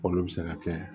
K'olu bɛ se ka kɛ